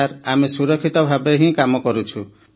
sir ଆମେ ସୁରକ୍ଷିତ ଭାବେ ହିଁ କାମ କରୁଛୁ